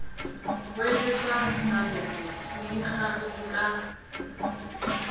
hweletsa sabese se ikgarile ka